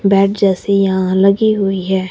Bed जैसी यहां लगी हुई है।